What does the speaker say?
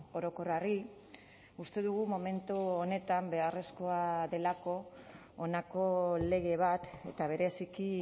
orokorrari uste dugu momentu honetan beharrezkoa delako honako lege bat eta bereziki